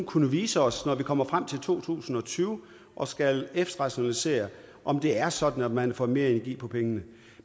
kunne vise os når vi kommer frem til to tusind og tyve og skal efterrationalisere om det er sådan at man får mere energi for pengene